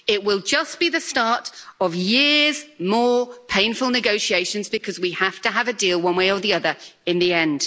It will just be the start of more years of painful negotiations, because we have to have a deal one way or the other, in the end.